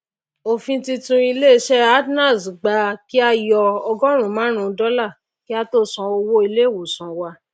òfin titun ilé isé atnals gba kí á yọ ọgóòrún máàrún dólà kí á tó san owó ilé ìwòsàn ẹni